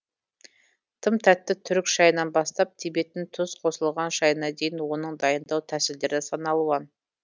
тым тәтті түрік шайынан бастап тибеттің тұз қосылған шайына дейін оның дайындау тәсілдері саналуан